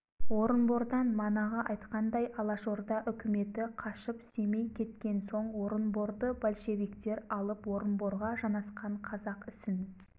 орынбордан манағы айтқандай алашорда үкіметі қашып семей кеткен соң орынборды большевиктер алып орынборға жанасқан қазақ ісін